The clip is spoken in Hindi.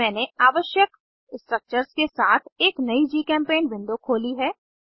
मैंने आवश्यक स्ट्रक्चर्स के साथ एक नयी जीचेम्पेंट विंडो खोली है